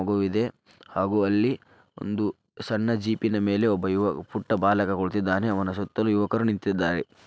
ಇದೆ ಹಾಗು ಅಲ್ಲಿ ಸಣ್ಣ ಜಿಪಿನ ಮೇಲೆ ಪುಟ್ಟ ಬಾಲಕ ಕುಳಿತಿದ್ದಾನೆ ಅವನ ಸುತ್ತಲೂ ಯುವಕರು ನಿಂತಿದ್ದಾರೆ .